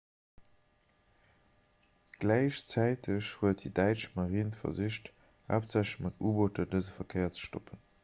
gläichzäiteg huet déi däitsch marine versicht haaptsächlech mat u-booter dëse verkéier ze stoppen